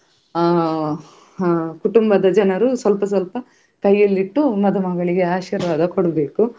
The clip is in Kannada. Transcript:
ಅಹ್ ಅಹ್ ಕುಟುಂಬದ ಜನರು ಸ್ವಲ್ಪ ಸ್ವಲ್ಪ ಕೈಯಲ್ಲಿಟ್ಟು ಮದುಮಗಳಿಗೆ ಆಶೀರ್ವಾದ ಕೊಡಬೇಕು .